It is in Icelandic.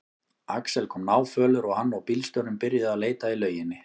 Axel kom náfölur og hann og bílstjórinn byrjuðu að leita í lauginni.